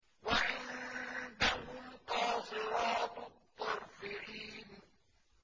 وَعِندَهُمْ قَاصِرَاتُ الطَّرْفِ عِينٌ